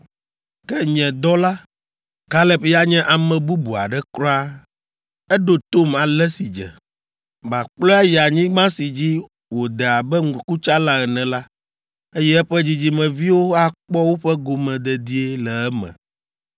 Ke nye dɔla, Kaleb ya nye ame bubu aɖe kura, eɖo tom ale si dze. Makplɔe ayi anyigba si dzi wòde abe ŋkutsala ene la, eye eƒe dzidzimeviwo akpɔ woƒe gome dedie le eme.